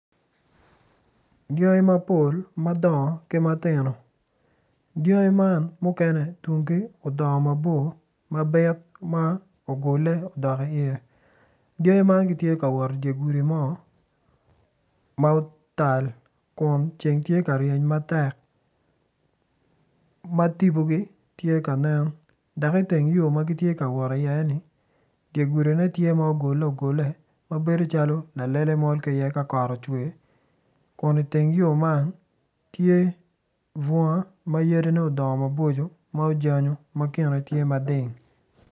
Dyangi mapol madongo ki ma tino dyangi man mukene tungi odongo mabor mabit ma ogule odok iye dyangi man gitye ka wot idye gudi mo ma otal kun ceng tye ka ryeny matek ma tipogi tye ka nen dok iteng yo ma gitye ka wot iyeni dye gudine tye ma ogule ogule ma bedo calo lalele mol ki iye ka kot ocwe kuniteng yo man tye bunga ma yadine odongo maboco ma ojanyo ma kine tye mading.